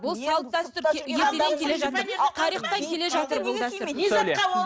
бұл салт дәстүр ертеден келе жатыр тарихтан келе жатыр бұл дәстүр